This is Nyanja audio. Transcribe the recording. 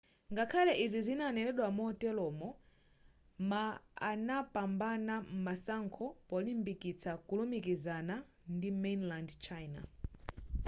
ngakhale izi zinanenedwa moteromo ma anapambana masankho polimbikitsa kulumikizana ndi mainland china